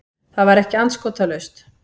Það var ekki andskotalaust.